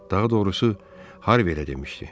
Daha doğrusu, Harvi elə demişdi.